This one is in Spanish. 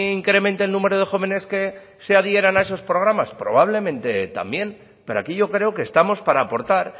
incremente el número de jóvenes que se adhieran a esos programas probablemente también pero aquí yo creo que estamos para aportar